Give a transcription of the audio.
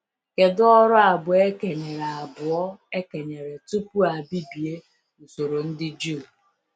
Kedu ọrụ abụọ e kenyere abụọ e kenyere tupu a bibie usoro ndị Juu?